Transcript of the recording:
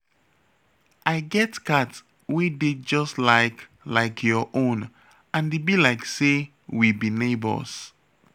I get cat wey dey just like like your own and e be like say we be neighbours